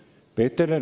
Peeter Ernits.